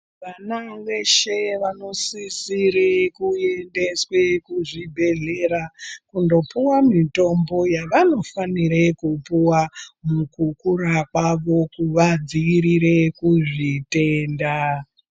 Vana zveshe vanosisire kuendeswe kuzvibhedhlera, kundopuwa mitombo yavanofanire kupuwa, mukukura kwavo kuvadziirire kuzvitenda .